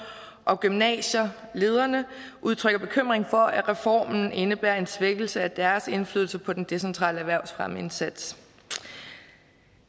og gymnasielederne udtrykker bekymring for at reformen indebærer en svækkelse af deres indflydelse på den decentrale erhvervsfremmeindsats